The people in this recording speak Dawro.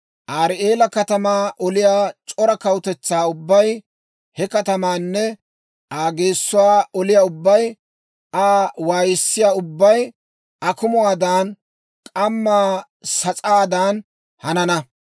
Arii'eela katamaa oliyaa c'ora kawutetsaa ubbay, he katamaanne Aa geessuwaa oliyaa ubbay, Aa waayissiyaa ubbay akumuwaadan, k'amma sas'aadan hanana.